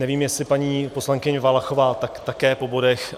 Nevím, jestli paní poslankyně Valachová... tak také po bodech.